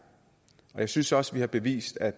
jeg synes også vi har bevist at